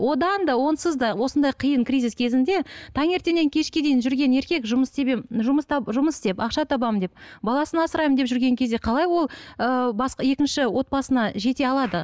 одан да онсыз да осындай қиын кризис кезінде таңертеңнен кешке дейін жүрген еркек жұмыс жұмыс жұмыс істеп ақша табамын деп баласын асыраймын деп жүрген кезде қалай ол ыыы екінші отбасына жете алады